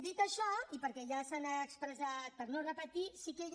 dit això i perquè ja s’han expressat per no repetir sí que jo